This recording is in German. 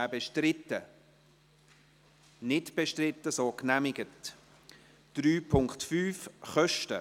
Sie haben auch diesen Zusatzabsatz nicht angenommen, mit 89 Nein- gegen 55 Ja-Stimmen bei 2 Enthaltungen.